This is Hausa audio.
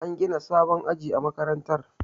An gina sabon aji a makarantar